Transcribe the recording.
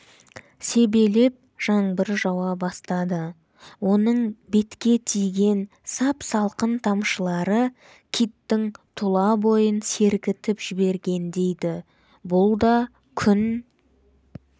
себелеп жаңбыр жауа бастады оның бетке тиген сап-салқын тамшылары киттің тұла бойын сергітіп жібергендей ді бұл да күн